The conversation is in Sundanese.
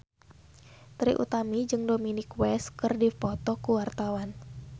Trie Utami jeung Dominic West keur dipoto ku wartawan